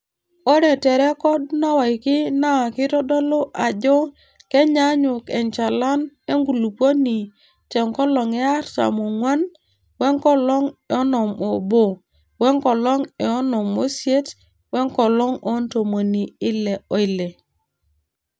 Ore te rrekod naawaki naa keitodolu ajo kenyaanyuk enchalan enkulupuoni te nkolong e artam oong'wan, wenkolong e onom oobo, wenkolong e onom oisiet, wenkolong oo ntomoni Ile oile.